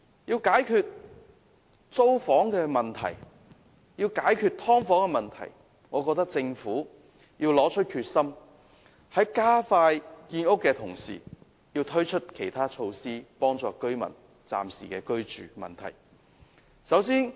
要解決租房和"劏房"問題，政府必須拿出決心，在加快建屋的同時，推出其他措施幫助居民應付暫時的居住問題。